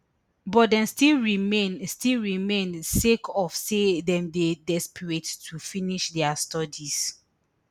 but dem still remain still remain sake of say dem dey desperate to finish dia studies